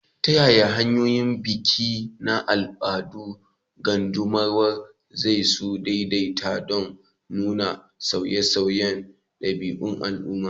Ta yaya hanyoyin biki na al'adun qaddamarwa, za su daidaita don nuna sauye-sauyen ɗabi'un al'umma?